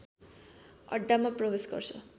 अड्डामा प्रवेश गर्छ